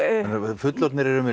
fullorðnir eru með